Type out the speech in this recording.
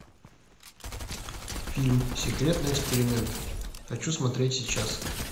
фильм секретный эксперимент хочу смотреть сейчас